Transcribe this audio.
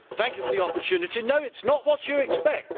Thank you for the opportunity no, it is not what you expect